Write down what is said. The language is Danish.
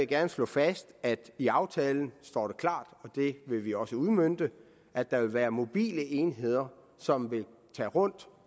gerne slå fast at det står i aftalen og det vil vi også udmønte at der vil være mobile enheder som vil tage rundt